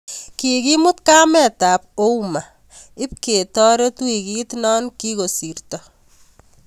Kikimut kametab Ouma ibketoret wikit no kikosirto